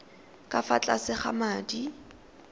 ka fa tlase ga madi